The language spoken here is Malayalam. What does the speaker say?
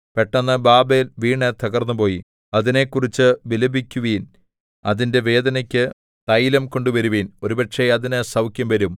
പെട്ടെന്ന് ബാബേൽ വീണു തകർന്നുപോയി അതിനെക്കുറിച്ച് വിലപിക്കുവിൻ അതിന്റെ വേദനയ്ക്കു തൈലം കൊണ്ടുവരുവിൻ ഒരുപക്ഷേ അതിന് സൗഖ്യം വരും